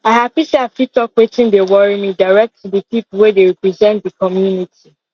i happy say i fit talk watin dey worry me direct to the people wey dey represent the community